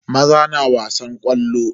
Maza na wasan ƙwallo.